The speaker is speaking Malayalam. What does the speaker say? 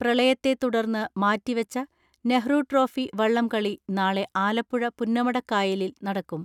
പ്രളയത്തെതുടർന്ന് മാറ്റിവെച്ച നെഹ്റു ട്രോഫി വള്ളംകളി നാളെ ആലപ്പുഴ പുന്നമടക്കായലിൽ നടക്കും.